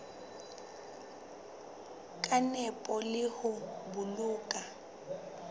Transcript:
ka nepo le ho boloka